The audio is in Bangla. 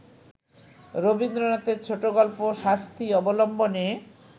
রবীন্দ্রনাথের ছোটগল্প ‘শাস্তি’ অবলম্বনে